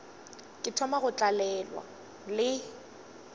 ke thoma go tlalelwa le